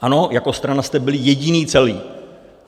Ano, jako strana jste byli jediní celí.